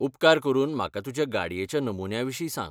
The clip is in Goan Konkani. उपकार करून म्हाका तुज्या गाडयेच्या नमुन्याविशीं सांग.